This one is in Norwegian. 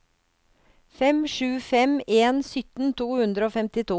fem sju fem en sytten to hundre og femtito